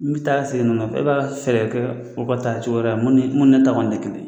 N bɛ taa seegin n nɔnna bɛ ba fɛ ka kɛ foroba ta cogo ya la mun ne taa de kelen ye.